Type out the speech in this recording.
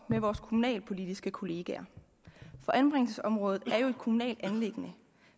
med vores kommunalpolitiske kollegaer for anbringelsesområdet er jo et kommunalt anliggende